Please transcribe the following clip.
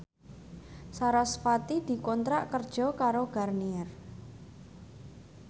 sarasvati dikontrak kerja karo Garnier